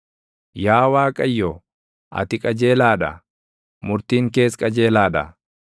Yaa Waaqayyo, ati qajeelaa dha; murtiin kees qajeelaa dha.